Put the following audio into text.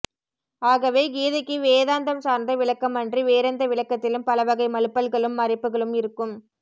ஆகவே கீதைக்கு வேதாந்தம் சார்ந்த விளக்கம் அன்றி வேறெந்த விளக்கத்திலும் பலவகை மழுப்பல்களும் மறைப்புகளும் இருக்கும்